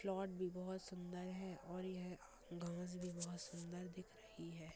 Float भी बहुत सुंदर है और यह घास भी बहुत सुन्दर दिख रही है।